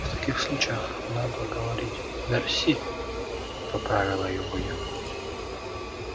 в таких случаях надо говорить мерси поправила его я